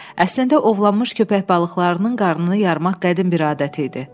Əslində ovlanmış köpək balıqlarının qarnını yarmaq qədim bir adət idi.